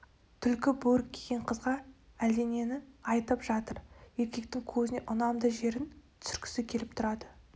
түлкі бөрік киген қызға әлденені айтып жатыр еркектің көзіне ұнамды жерін түсіргісі келіп тұрады